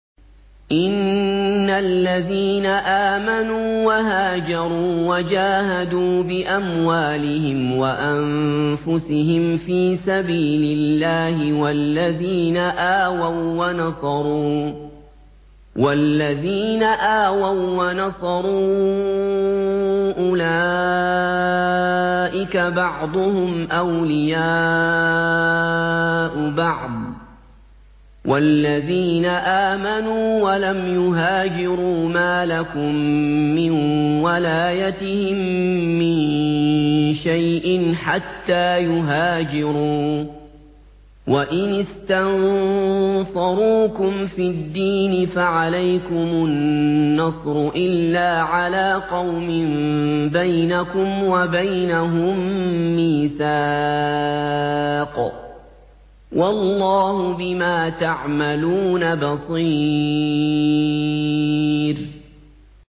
إِنَّ الَّذِينَ آمَنُوا وَهَاجَرُوا وَجَاهَدُوا بِأَمْوَالِهِمْ وَأَنفُسِهِمْ فِي سَبِيلِ اللَّهِ وَالَّذِينَ آوَوا وَّنَصَرُوا أُولَٰئِكَ بَعْضُهُمْ أَوْلِيَاءُ بَعْضٍ ۚ وَالَّذِينَ آمَنُوا وَلَمْ يُهَاجِرُوا مَا لَكُم مِّن وَلَايَتِهِم مِّن شَيْءٍ حَتَّىٰ يُهَاجِرُوا ۚ وَإِنِ اسْتَنصَرُوكُمْ فِي الدِّينِ فَعَلَيْكُمُ النَّصْرُ إِلَّا عَلَىٰ قَوْمٍ بَيْنَكُمْ وَبَيْنَهُم مِّيثَاقٌ ۗ وَاللَّهُ بِمَا تَعْمَلُونَ بَصِيرٌ